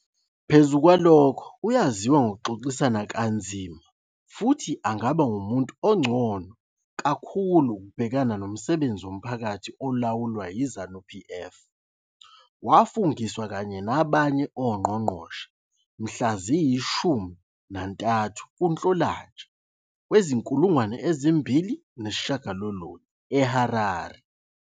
Phezu kwalokho, uyaziwa ngokuxoxisana kanzima futhi angaba ngumuntu ongcono kakhulu ukubhekana nomsebenzi womphakathi olawulwa yiZanu-PF. Wafungiswa kanye nabanye oNgqongqoshe mhla ziyi-13 kuNhlolanja wezi-2009 eHarare.